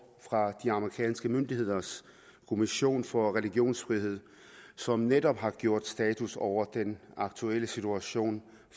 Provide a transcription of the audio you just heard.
fra de amerikanske myndigheders kommission for religionsfrihed som netop har gjort status over den aktuelle situation